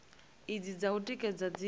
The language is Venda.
idzi dza u tikedza dzi